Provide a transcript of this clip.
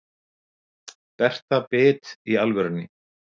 Berta bit í alvörunni.